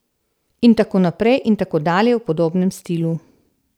In tako naprej in tako dalje v podobnem stilu.